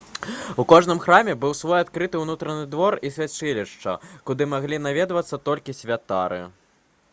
у кожным храме быў свoй адкрыты ўнутраны двор і свяцілішча куды маглі наведвацца толькі святары